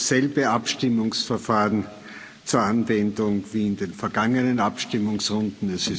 Es kommt dasselbe Abstimmungsverfahren zur Anwendung wie in den vorangegangenen Abstimmungsrunden